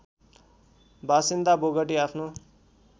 बासिन्दा बोगटी आफ्नो